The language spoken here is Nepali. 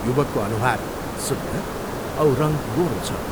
युवकको अनुहार सुन्दर औ रङ्ग गोरो छ।